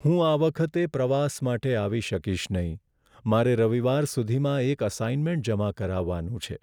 હું આ વખતે પ્રવાસ માટે આવી શકીશ નહીં. મારે રવિવાર સુધીમાં એક અસાઇનમેન્ટ જમા કરાવવાનું છે.